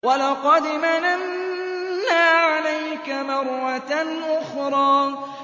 وَلَقَدْ مَنَنَّا عَلَيْكَ مَرَّةً أُخْرَىٰ